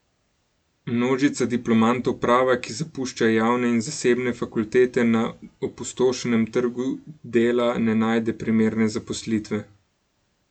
Množica diplomantov prava, ki zapušča javne in zasebne fakultete, na opustošenem trgu dela ne najde primerne zaposlitve.